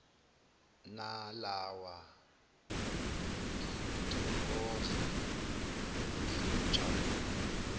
nalawa ngiyothokoza ngiyojabula